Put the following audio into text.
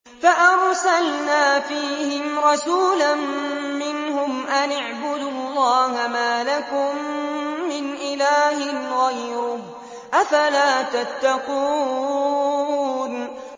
فَأَرْسَلْنَا فِيهِمْ رَسُولًا مِّنْهُمْ أَنِ اعْبُدُوا اللَّهَ مَا لَكُم مِّنْ إِلَٰهٍ غَيْرُهُ ۖ أَفَلَا تَتَّقُونَ